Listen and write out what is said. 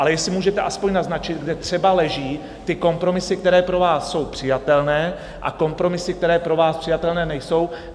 Ale jestli můžete aspoň naznačit, kde třeba leží ty kompromisy, které pro vás jsou přijatelné, a kompromisy, které pro vás přijatelné nejsou?